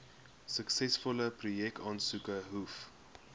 suksesvolle projekaansoeke hoef